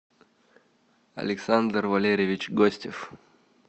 александр валерьевич гостев